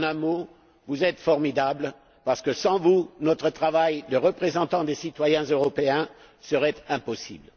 En un mot, vous êtes formidables parce que sans vous notre travail de représentants des citoyens européens serait impossible.